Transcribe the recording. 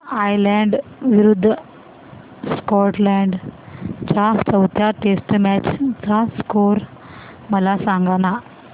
Ireland विरूद्ध Scotland च्या चौथ्या टेस्ट मॅच चा स्कोर मला सांगना